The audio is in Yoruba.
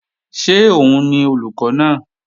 Ṣé òun ni olùkọ́ náà?